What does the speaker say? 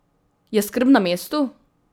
Je skrb na mestu?